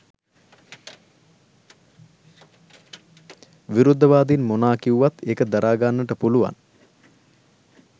විරුද්ධවාදීන් මොනා කිව්වත් ඒක දරා ගන්නට පුළුවන්